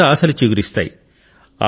కొత్త ఆశలు చిగురిస్తాయి